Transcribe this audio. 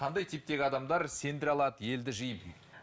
қандай типтегі адамдар сендіре алады елді жиып